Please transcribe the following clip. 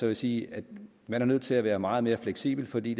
jeg sige at man er nødt til at være meget mere fleksibel fordi